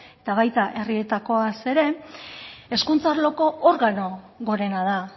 eta baita herrietakoaz ere hezkuntza arloko organo gorena da